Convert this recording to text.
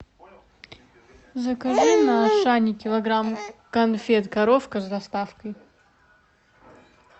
закажи на ашане килограмм конфет коровка с доставкой